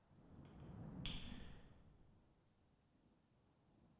मैं इसे y दबा कर निश्चित करूँगा